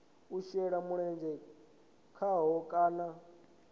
u shela mulenzhe khaho kana